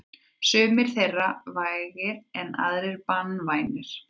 Sumir þeirra eru vægir en aðrir banvænir.